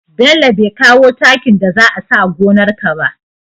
Bello be kawo takin da za a sawa gonar ka ba